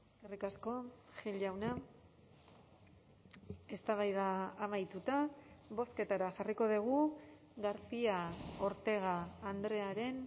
eskerrik asko gil jauna eztabaida amaituta bozketara jarriko dugu garcia ortega andrearen